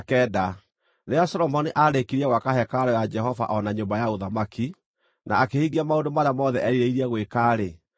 Rĩrĩa Solomoni aarĩkirie gwaka hekarũ ya Jehova o na nyũmba ya ũthamaki, na akĩhingia maũndũ marĩa mothe erirĩirie gwĩka-rĩ,